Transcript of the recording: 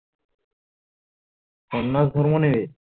স্নানদান করবো নি